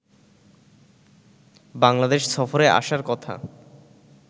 বাংলাদেশ সফরে আসার কথা